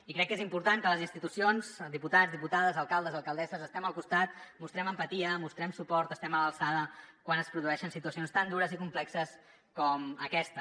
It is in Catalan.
i crec que és important que les institucions diputats diputades alcaldes alcaldesses estem al costat mostrem empatia mostrem suport estiguem a l’alçada quan es produeixen situacions tan dures i complexes com aquesta